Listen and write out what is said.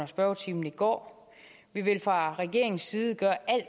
spørgetimen i går vi vil fra regeringens side gøre alt